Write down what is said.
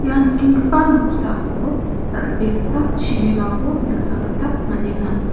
nikenggipa noksao dal·begipa chibimako nikna gita man·enga.